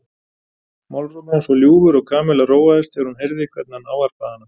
Málrómur hans var ljúfur og Kamilla róaðist þegar hún heyrði hvernig hann ávarpaði hana.